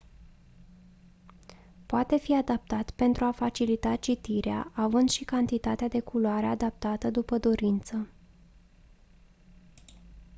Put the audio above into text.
poate fi adaptat pentru a facilita citirea având și cantitatea de culoare adaptată după dorință